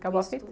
Acabou a fita?